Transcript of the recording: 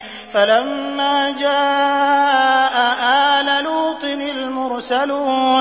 فَلَمَّا جَاءَ آلَ لُوطٍ الْمُرْسَلُونَ